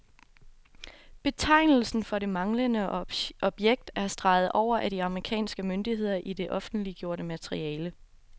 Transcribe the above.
Betegnelsen for det manglende objekt er streget over af de amerikanske myndigheder i det offentliggjorte materiale.